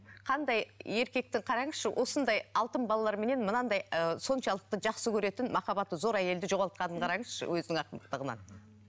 қандай еркекті қараңызшы осындай алтын балаларыменен мынандай ы соншалықты жақсы көретін махаббаты зор әйелді жоғалтқанын қараңызшы өзінің ақмақтығынан